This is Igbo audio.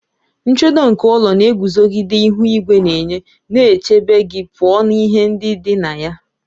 Nchedo nke ụlọ na-eguzogide ihu igwe na-enye, na-echebe gị pụọ na ihe ndị dị na ya